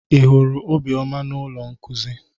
Ị hụrụ Obioma na ụlọ nkuzi?